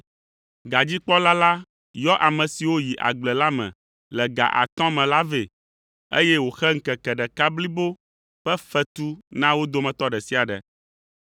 Gadzikpɔla la yɔ ame siwo yi agble la me le ga atɔ̃ me la vɛ, eye wòxe ŋkeke ɖeka blibo ƒe fetu na wo dometɔ ɖe sia ɖe.